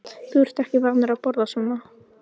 Þú ert ekki vanur að borða þetta svona